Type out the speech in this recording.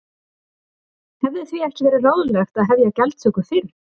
Hefði því ekki verið ráðlegt að hefja gjaldtöku fyrr?